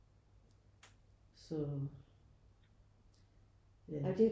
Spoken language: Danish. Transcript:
Så ja